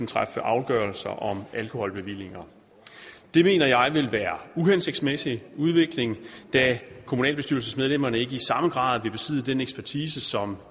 træffe afgørelser om alkoholbevillinger det mener jeg vil være uhensigtsmæssig udvikling da kommunalbestyrelsesmedlemmerne ikke i samme grad vil besidde den ekspertise om